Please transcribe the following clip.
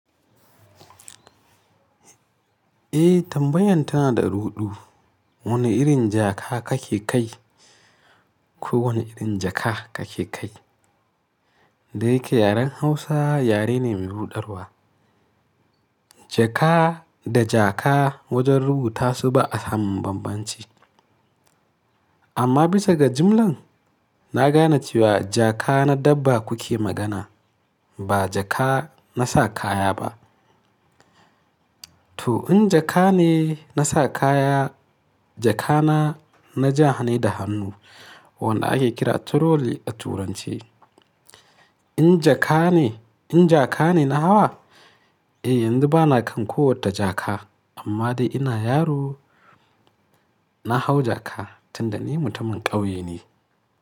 Eh tambayan tana da ruɗu. Wani irin jaka kake kai ko wani irin jaka kake kai? Da yake yaren Hausa yare ne mai ruɗarwa. Jaka da jaka wajen rubutu ba a samun bambanci. Amma bisa ga jimlan, na gane cewa jaka na dabba kuke magana ba jaka na sa kaya ba. To in jaka ne na sa kaya, jaka na, na jahane da hannu wanda ake kira trolley a turance. In jaka ne, in jaka ne na hawa? Eh yanzu ba na kan kowata jaka amma dai ina yaro. Na hau jaka tun da ni mutumin ƙauye ne.